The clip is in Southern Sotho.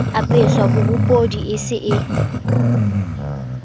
apeswa pobodi e se e